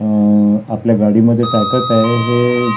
अ आपल्या गाडीमध्ये टाकत आहे हे--